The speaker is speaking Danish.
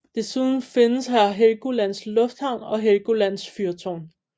Desuden findes her Helgolands lufthavn og Helgolands fyrtårn